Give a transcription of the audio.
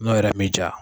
N'o yɛrɛ mi ja